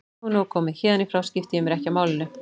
Nú er nóg komið, héðan í frá skipti ég mér ekki af málinu.